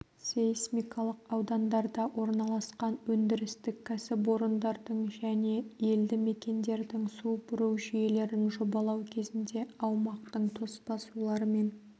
сейсмикалық аудандарда орналасқан өндірістік кәсіпорындардың және елді мекендердің су бұру жүйелерін жобалау кезінде аумақтың тоспа сулармен